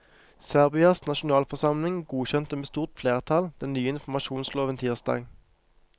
Serbias nasjonalforsamling godkjente med stort flertall den nye informasjonsloven tirsdag.